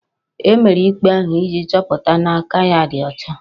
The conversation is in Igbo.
E mere ikpe ahụ iji chọpụta na aka ya ọ dị ọcha